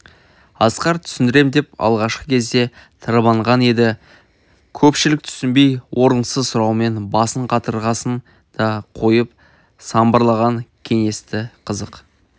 асқар түсіндірем деп алғашқы кезде тырбанған еді көпшілік түсінбей орынсыз сұраумен басын қатырғасын да қойып самбырлаған кеңесті қызық